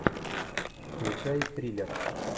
включай триллер